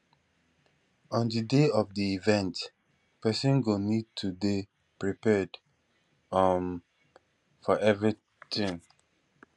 on di day of di event person go need to dey prepared um for anything